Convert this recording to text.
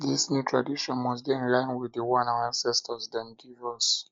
dis new tradition must dey in line wit di one our ancestor dem give us